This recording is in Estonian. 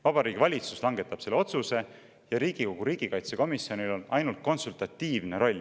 Vabariigi Valitsus langetab selle otsuse ja Riigikogu riigikaitsekomisjonil on ainult konsultatiivne roll.